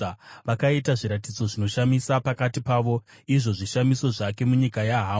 Vakaita zviratidzo zvinoshamisa pakati pavo, izvo zvishamiso zvake munyika yaHamu.